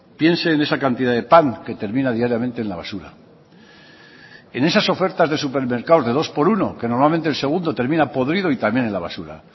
piense en esa cantidad de pan que termina diariamente en la basura en esas ofertas de supermercado de dos por uno que normalmente el segundo termina podrido y también en la basura